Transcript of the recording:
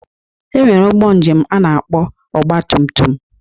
E nwere ụgbọ njem a na-akpọ ọgbatumtum